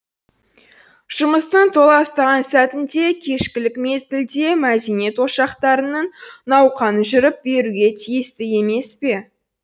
жұмыстың толастаған сәтінде кешкілік мезгілде мәдениет ошақтарының науқаны жүріп беруге тиісті емес пе